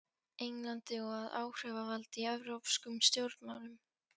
Englandi og að áhrifavaldi í evrópskum stjórnmálum.